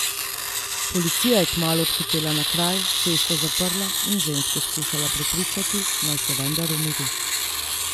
Policija je kmalu odhitela na kraj, cesto zaprla in žensko skušala prepričati, naj se vendar umiri.